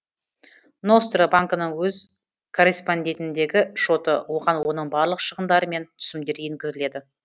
ностро банкінің өз корреспондентіндегі шоты оған оның барлық шығындары мен түсімдері енгізіледі